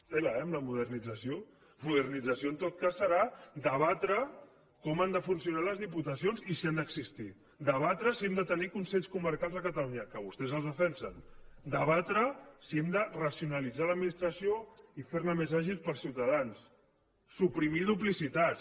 tela eh amb la modernització modernització en tot cas serà debatre com han de funcionar les diputacions i si han d’existir debatre si hem de tenir consells comarcals a catalunya que vostès els defensen debatre si hem de racionalitzar l’administració i fer la més àgil per als ciutadans suprimir duplicitats